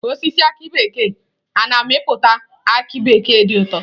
Osisi aki bekee a na-amịpụta aki bekee dị ụtọ.